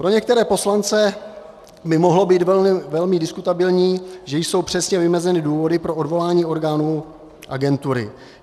Pro některé poslance by mohlo být velmi diskutabilní, že jsou přesně vymezeny důvody pro odvolání orgánů agentury.